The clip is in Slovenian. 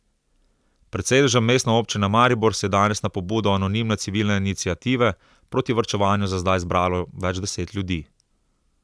Pred sedežem Mestne občine Maribor se je danes na pobudo anonimne Civilne iniciative proti varčevanju za zdaj zbralo več deset ljudi.